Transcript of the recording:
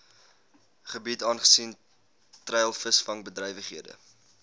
gebiede aangesien treilvisvangbedrywighede